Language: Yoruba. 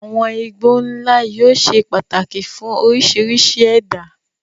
Àwọn igbó ńlá yóò ṣe pàtàkì fún oríṣiríṣi ẹ̀dá.